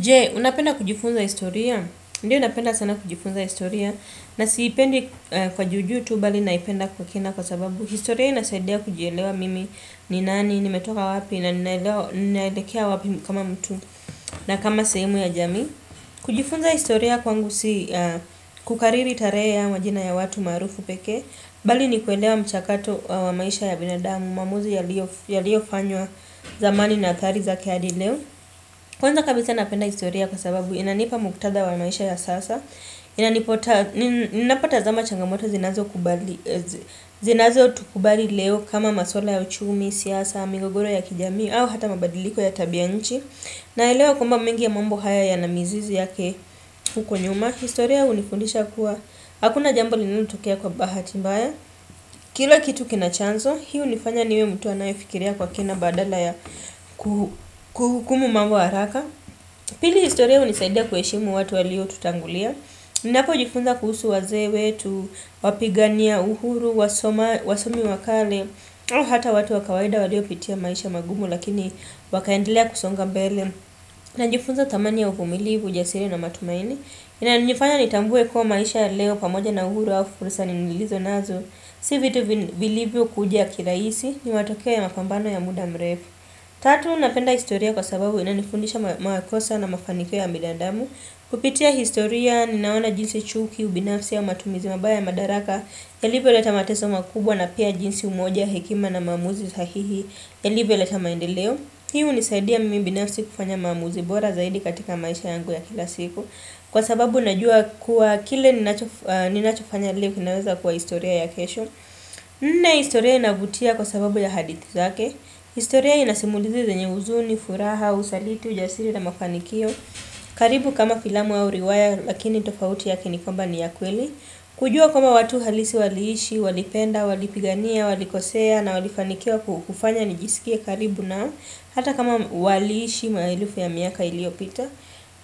Jee, unapenda kujifunza historia? Ndiyo napenda sana kujifunza historia. Na siipendi kwa juju tu, bali naipenda kwa kina kwa sababu. Historia inasaidea kujielewa mimi, ninani, nimetoka wapi, na nilekea wapi kama mtu, na kama sehemu ya jami. Kujifunza historia kwangu si kukariri tare au majina ya watu marufu peke. Bali nikuelewa mchakato wa maisha ya binadamu, mamuzi ya liofanywa zamani na atari zake adi leo. Kwanza kabisa napenda historia kwa sababu inanipa muktada wa maisha ya sasa. Inanipota, ninapotazama changamoto zinazo kubali leo kama masuala ya uchumi, siyasa, mingogoro ya kijami au hata mabadiliko ya tabiya nchi. Na elewa kuamba mingi ya mambo haya yana mizizi yake huko nyuma. Historia unifundisha kuwa, hakuna jambo linalotokea kwa bahati mbaya. Kila kitu kina chanzo, hi unifanya niwe mtu anayefikiria kwa kina badala ya kuhukumu mambo haraka pili historia unisaidia kuheshimu watu walio tutangulia ninapo jifunza kuhusu waze wetu wapigania uhuru wasomi wakale hata watu wakawaida waliopitia maisha magumu lakini wakaendelea kusonga mbele na jifunza tamani ya ufumilivu ujasiri na matumaini ina nifanya nitambue kua maisha leo pamoja na uhuru wa fursa ninilizo nazo si vitu vilivokuja kilaisi ni matokea ya mapambano ya muda mrefu. Tatu, napenda historia kwa sababu ina nifundisha makosa na mafanikio ya binada damu. Kupitia historia, ninaona jinsi chuki, ubinafsi ya matumizi mabaya madaraka, yalivyoleta mateso makubwa na pia jinsi umoja, hekima na mamuzi sahihi, eliveleta maendeleo. Hi unisaidia mimi ubinafsi kufanya mamuzi bora zaidi katika maisha yangu ya kila siku. Kwa sababu, najua kwa kile ninachofanya leo, kinaweza kuwa historia ya kesho. Nne historia inavutia kwa sababu ya hadithi zake. Historia inasimulizi zenye uzuni, furaha, usaliti, ujasiri na mafanikio. Karibu kama filamu au riwaya lakini tofauti yake ni kwamba ni ya kweli. Kujua kama watu halisi waliishi, walipenda, walipigania, walikosea na walifanikiwa kufanya nijisikie karibu nao. Hata kama waliishi maelufu ya miaka iliopita.